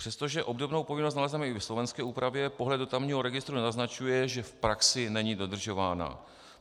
Přestože obdobnou povinnost nalezneme i v slovenské úpravě, pohled do tamního registru naznačuje, že v praxi není dodržována.